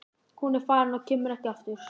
Hún er farin og kemur ekki aftur.